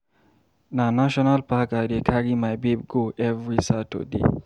Na National park I dey carry my babe go every Saturday.